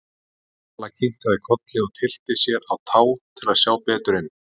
Vala kinkaði kolli og tyllti sér á tá til að sjá betur inn.